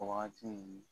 O wagati